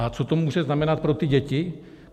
A co to může znamenat pro ty děti?